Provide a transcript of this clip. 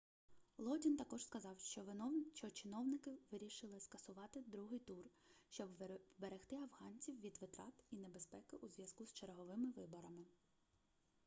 лодін також сказав що чиновники вирішили скасувати другий тур щоб вберегти афганців від витрат і небезпеки у зв'язку з черговими виборами